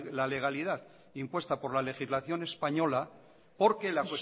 la legalidad impuestas por la legislación española porque la